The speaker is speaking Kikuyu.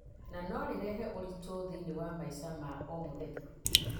na no ũrehe moritũ thĩiniĩ wa maica ma o mũthenya